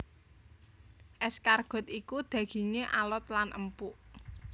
Escargot iku dagingé alot lan empuk